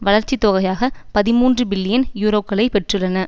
வளர்ச்சி தொகையாக பதிமூன்று பில்லியன் யூரோக்களை பெற்றுள்ளன